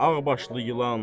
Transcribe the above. Ağbaşlı ilan.